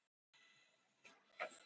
Fundurinn verður haldinn í Iðnó